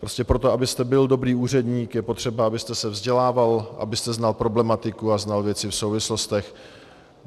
Prostě proto, abyste byl dobrý úředník, je potřeba, abyste se vzdělával, abyste znal problematiku a znal věci v souvislostech.